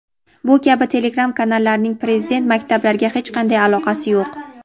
bu kabi telegram kanallarining Prezident maktablariga hech qanday aloqasi yo‘q.